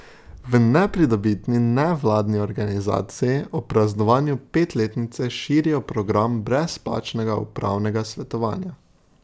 V nepridobitni nevladni organizaciji ob praznovanju petletnice širijo program brezplačnega upravnega svetovanja.